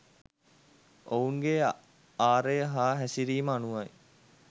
ඔවුන්ගේ ආරය හා හැසිරීම අනුවයි.